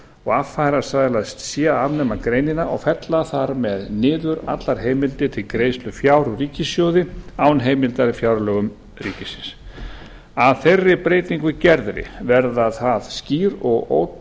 og affarasælast sé að afnema greinina og fella þar með niður allar heimildir til greiðslu fjár úr ríkissjóði án heimildar í fjárlögum ríkisins að þeirri breytingu gerðri verður það skýr og